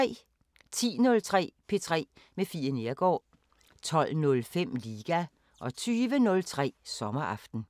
10:03: P3 med Fie Neergaard 12:05: Liga 20:03: Sommeraften